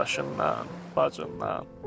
Qardaşından, bacından.